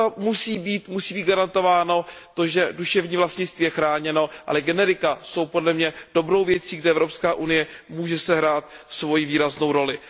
Tam musí být garantováno to, že duševní vlastnictví je chráněno, ale generika jsou podle mě dobrou věcí, kde EU může sehrát svojí výraznou roli.